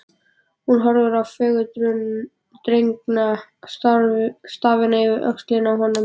Hún horfði á fagurdregna stafina yfir öxlina á honum.